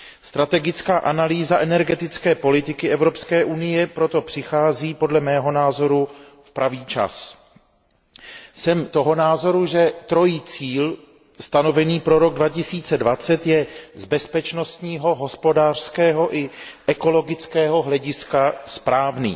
Strategická analýza energetické politiky Evropské unie proto přichází podle mého názoru v pravý čas. Jsem toho názoru, že trojí cíl stanovený pro rok 2020 je z bezpečnostního, hospodářského i ekologického hlediska správný.